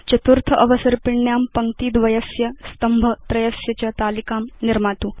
चतुर्थ अवसर्पिण्यां पङ्क्ति द्वयस्य स्तम्भ त्रयस्य च तालिकां निर्मातु